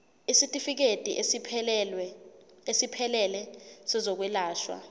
isitifikedi esiphelele sezokwelashwa